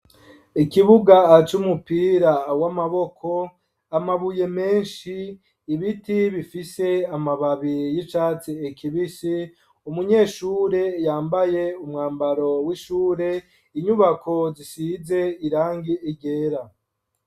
Ikibuga c' umupira w'amaboko, amabuye menshi, ibiti bifise amababi y'icatsi kibisi ,umunyeshure yambaye umwambaro w'ishure, inyubako zisize irangi ryera.